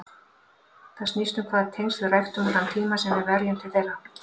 Það snýst um hvaða tengsl við ræktum og þann tíma sem við verjum til þeirra.